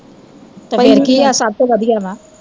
ਤੇ ਫੇਰ ਕੀ ਐ ਸਭ ਤੋਂ ਵਧੀਆ ਵਾਂ